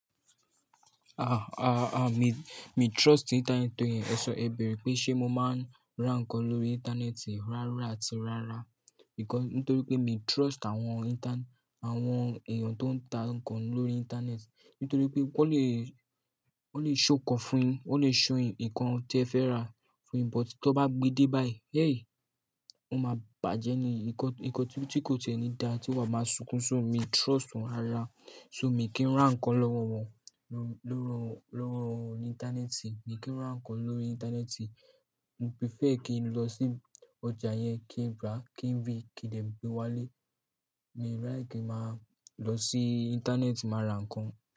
Ah, ah, ah mi, mi trust internet nítorínáà ẹ sọ, ẹ bèrè pé ṣé mo máa ń ra nǹkan lórí ìntanẹ́ẹ̀tì rárá àti rárá, nítorí pé mi trust àwọn intan-- àwọn èèyàn tó ń ta nǹkan lórí ìntanẹ́ẹ̀tì. Nítorí pé wọ́n lè, wọ́n lè ṣọ ǹkan fún yín, wọ́n lè ṣọ ìkan tí ẹ fẹ́ rà fún yín, but tí wọ́n bá gbe dé bá yìí, hey! Ó máa bàjẹ́ ni, nǹkan, nǹkan tí kò tiẹ̀ nì dá tí wàá máa sunkún. So, miì trust wọn rárá, so mi kì í ra nǹkan lọ́wọ́ wọn, lọ́wọ́, lọ́wọ́, lọ́wọ́ ìntanẹ́ẹ̀tì, mi kì í ra nǹkan lórí ìntanẹ́ẹ̀tì. Mo prefer kí n lọ sí ọjà yẹn, kí n rí á, kí n rí i, kí n dẹ̀ gbé wá lé. Miì ráyè kí n máa lọ sí ìntanẹ́ẹ̀tì máa ra nǹkan.